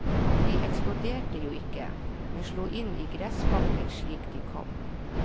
De eksploderte jo ikke, men slo inn i gressbakken slik de kom.